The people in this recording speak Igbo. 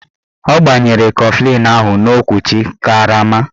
Ọ gbanyere kọflịn ahụ n'okwuchi karama